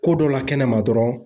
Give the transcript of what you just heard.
Ko dɔ la kɛnɛma dɔrɔn